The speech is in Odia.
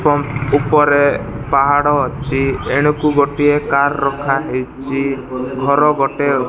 ପମ୍ପ ଉପରେ ପାହାଡ ଅଛି ଏଣୁକୁ ଗୋଟେ କାର ରଖାହେଇଛି ଘର ଗୋଟେ ଅଛି।